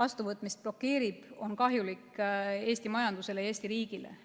vastuvõtmist blokeerib, on kahjulik Eesti majandusele ja Eesti riigile.